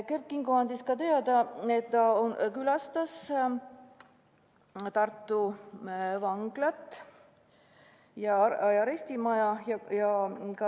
Kert Kingo andis teada, et ta külastas Tartu Vanglat ja arestimaja.